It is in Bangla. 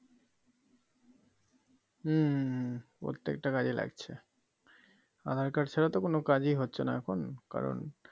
হম হম হম প্রত্যেকটা কাজেই লাগছে আধার কার্ড ছাড়া তো কোনো কাজেই হচ্ছেনা এখন কারণ